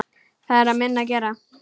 Það er minna að gera.